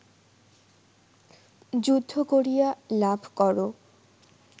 যুদ্ধ করিয়া লাভ কর